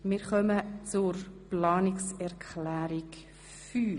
Sie haben Planungserklärung 6 abgelehnt.